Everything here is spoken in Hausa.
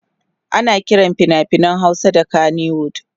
ana Kiran finafinan Hausa da kanywood